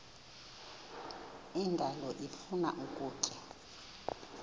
indalo ifuna ukutya